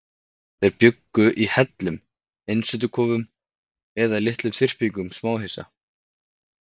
Þeir bjuggu í hellum, einsetukofum eða litlum þyrpingum smáhýsa.